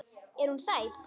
Er hún sæt?